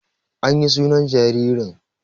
Anyi sunan jaririn